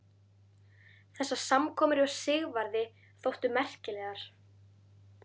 Þessar samkomur hjá Sigvarði þóttu merkilegar.